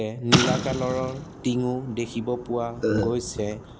এ নীলা কালাৰ ৰ টিঙো ও দেখিব পোৱা গৈছে।